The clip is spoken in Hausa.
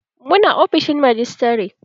Mu na ofishin majistare